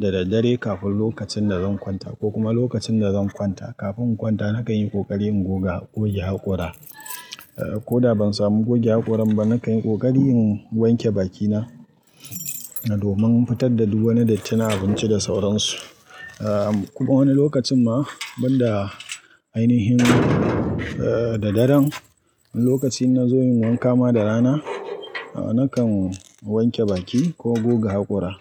da daddare kafin lokacin da zan kwanta ko kuma lokacin da zan kwanta. Kafin in kwanta nakan yi ƙoƙari in goga, goge haƙora. Ko da ban samu goge haƙoran ba, na kan yi ƙoƙari in wanke bakina domin fitar da duk wani datti na abinci da sauransu. A kuma wani lokacin ma banda ainihin eh da daren, lokacin na zo in yi wanka ma da rana, nakan wanke baki ko goge haƙora.